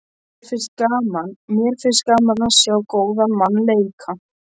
Mér finnst gaman að sjá góðan mann leika.